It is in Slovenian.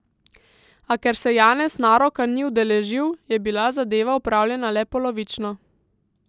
A ker se Janez naroka ni udeležil, je bila zadeva opravljena le polovično.